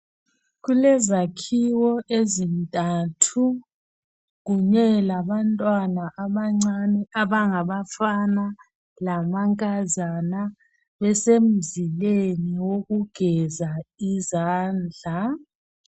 Kulezakhiwo ezintathu kunye labantwana abancane abangabafana lamankazana nesemzileni wokugeza izandla